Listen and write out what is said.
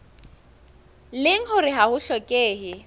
leng hore ha ho hlokehe